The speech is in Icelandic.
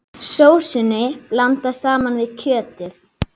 Sósunni blandað saman við kjötið.